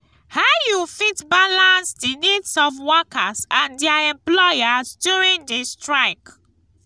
how you fit balance di needs of workers and dier employers during di strike?